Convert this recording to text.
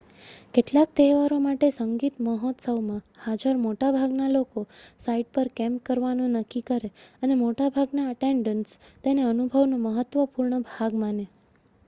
કેટલાક તહેવારો માટે સંગીત મહોત્સવમાં હાજર મોટા ભાગના લોકો સાઇટ પર કેમ્પ કરવાનું નક્કી કરે, અને મોટાભાગના એટેન્ડન્ટ્સ તેને અનુભવનો મહત્વપૂર્ણ ભાગ માને